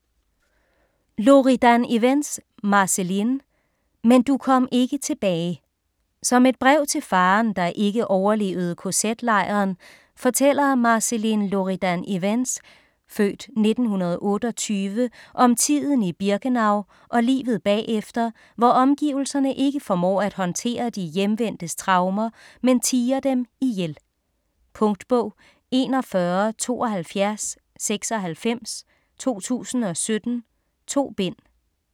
Loridan-Ivens, Marceline: Men du kom ikke tilbage Som et brev til faderen, der ikke overlevede kz-lejren, fortæller Marceline Loridan-Ivens (f. 1928) om tiden i Birkenau og livet bagefter, hvor omgivelserne ikke formår at håndtere de hjemvendtes traumer, men tier dem ihjel. Punktbog 417296 2017. 2 bind.